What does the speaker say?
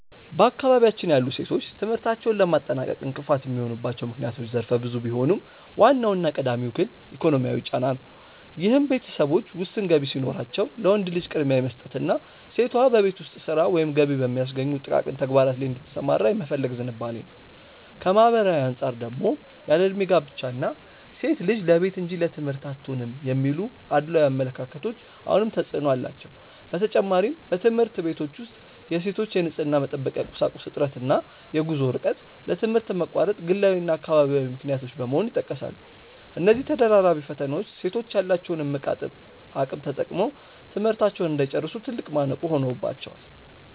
በአካባቢያችን ያሉ ሴቶች ትምህርታቸውን ለማጠናቀቅ እንቅፋት የሚሆኑባቸው ምክንያቶች ዘርፈ ብዙ ቢሆኑም፣ ዋናውና ቀዳሚው ግን ኢኮኖሚያዊ ጫና ነው፤ ይህም ቤተሰቦች ውስን ገቢ ሲኖራቸው ለወንድ ልጅ ቅድሚያ የመስጠትና ሴቷ በቤት ውስጥ ሥራ ወይም ገቢ በሚያስገኙ ጥቃቅን ተግባራት ላይ እንድትሰማራ የመፈለግ ዝንባሌ ነው። ከማኅበራዊ አንጻር ደግሞ ያለዕድሜ ጋብቻ እና "ሴት ልጅ ለቤት እንጂ ለትምህርት አትሆንም" የሚሉ አድሏዊ አመለካከቶች አሁንም ተፅዕኖ አላቸው። በተጨማሪም፣ በትምህርት ቤቶች ውስጥ የሴቶች የንፅህና መጠበቂያ ቁሳቁስ እጥረት እና የጉዞ ርቀት ለትምህርት መቋረጥ ግላዊና አካባቢያዊ ምክንያቶች በመሆን ይጠቀሳሉ። እነዚህ ተደራራቢ ፈተናዎች ሴቶች ያላቸውን እምቅ አቅም ተጠቅመው ትምህርታቸውን እንዳይጨርሱ ትልቅ ማነቆ ሆነውባቸዋል።